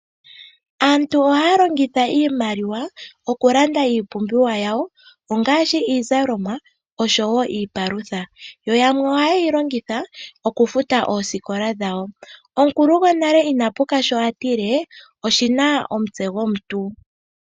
Aantu ohaya longitha iimaliwa okulanda iipumbiwa yawo ongaashi iizalomwa oshowo iikulya. Yamwe ohaya kafuta oosikola dhawo. Omukulu gwonale ina puka sho a tile oshina omutse gwomuntu.